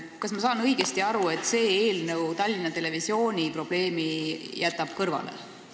Kas ma saan õigesti aru, et see eelnõu jätab Tallinna Televisiooni probleemi kõrvale?